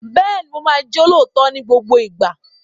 Bẹ́ẹ̀ni, mo máa jẹ́ olóòótọ́ ní gbogbo ìgbà.